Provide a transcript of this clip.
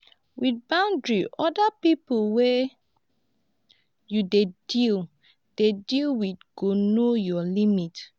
with boundaries oda pipo wey you dey deal dey deal with go know your limit